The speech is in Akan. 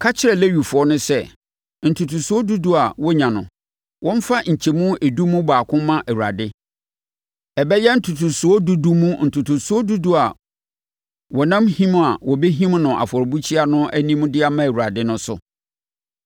“Ka kyerɛ Lewifoɔ no sɛ, ntotosoɔ dudu a wɔnya no, wɔmfa nkyɛmu edu mu baako mma Awurade. Ɛbɛyɛ ntotosoɔ dudu mu ntotosoɔ dudu a wɔnam him a wɔbɛhim no afɔrebukyia no anim de ama Awurade no so.